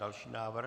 Další návrh.